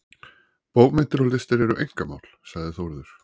Bókmenntir og listir eru einkamál, sagði Þórður.